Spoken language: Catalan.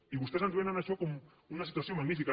i vostès ens venen això com una situació magnífica